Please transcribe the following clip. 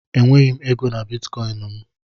Enweghị m ego na Bitikoinu m